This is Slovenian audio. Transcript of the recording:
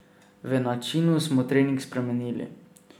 V načinu smo trening spremenili.